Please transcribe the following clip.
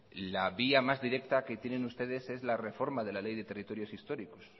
la vía más directa que tienen ustedes es la reforma de la ley de territorios históricos